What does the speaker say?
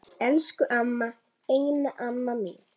Elsku amma, eina amma mín.